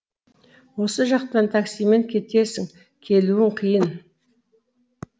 осы жақтан таксимен кетесің келуің қиын